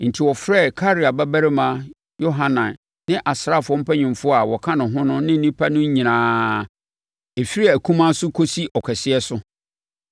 Enti, ɔfrɛɛ Karea babarima Yohanan ne asraafoɔ mpanimfoɔ a wɔka ne ho ne nnipa no nyinaa; ɛfiri akumaa so kɔsi ɔkɛseɛ so.